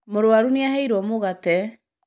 Mũrũaru nĩ aheirwo mũgate.